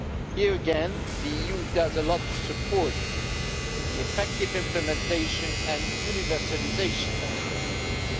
Here again the EU does a lot to support the effective implementation and universalisation of the ATT.